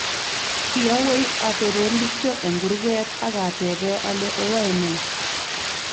Kiawei atonon kityo eng kurket ak atebee ale oyae ne.